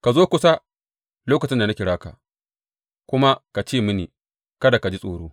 Ka zo kusa lokacin da na kira ka, kuma ka ce mini, Kada ka ji tsoro.